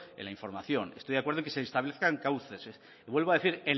en la información estoy de acuerdo en que se establezcan cauces y vuelvo a decir